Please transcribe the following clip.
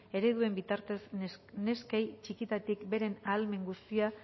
ereduen bitartez neskei txikitatik beren ahalmen guztia